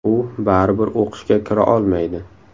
U baribir o‘qishga kira olmaydi.